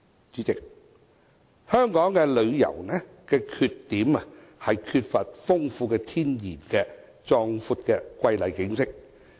主席，香港旅遊業的缺點，是缺乏豐富天然的壯闊瑰麗景色。